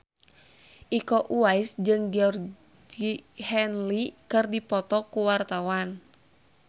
Iko Uwais jeung Georgie Henley keur dipoto ku wartawan